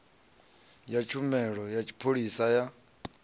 ya tshumelo ya tshipholisa ya